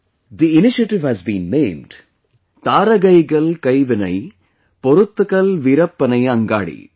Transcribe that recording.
The initiative has been named 'Tharagaigal Kaivinai Porutkal Virpanai Angadi'